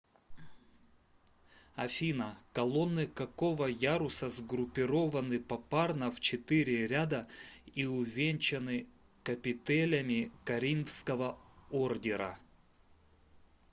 афина колонны какого яруса сгруппированны попарно в четыре ряда и увенчанны капителями коринфского ордера